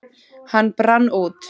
Hann brann út.